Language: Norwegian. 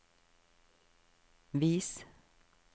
vis